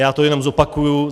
Já to jenom zopakuji.